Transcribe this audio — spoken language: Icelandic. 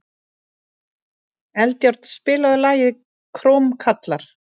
Eldjárn, spilaðu lagið „Krómkallar“.